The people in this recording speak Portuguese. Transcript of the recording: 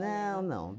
Não, não.